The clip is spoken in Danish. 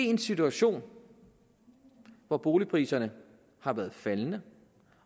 en situation hvor boligpriserne har været faldende